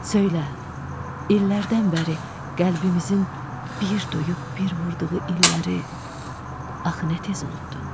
Söylə, illərdən bəri qəlbimizin bir duyub bir vurduğu illəri axı nə tez unutdun?